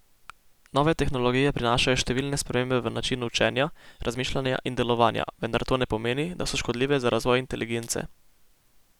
Nove tehnologije prinašajo številne spremembe v načinu učenja, razmišljanja in delovanja, vendar to ne pomeni, da so škodljive za razvoj inteligence.